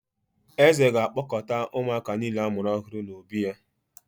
Eze ga-akpọkọta ụmụaka niile a mụrụ ọhụrụ n’obí ya